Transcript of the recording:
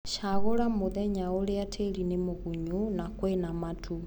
Cagūra mūthenya ũrĩa tĩri ni mũgunyu na kwĩna matu.